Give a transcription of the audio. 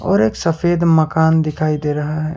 और एक सफेद मकान दिखाई दे रहा है।